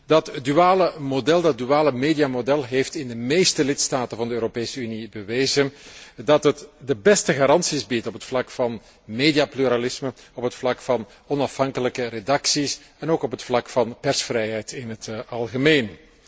Dat duale mediamodel heeft in de meeste lidstaten van de Europese Unie bewezen dat het de beste garanties biedt op het vlak van mediapluralisme, op het vlak van onafhankelijke redacties, en ook op het vlak van persvrijheid in het algemeen.